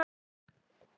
Bærðir varla á þér.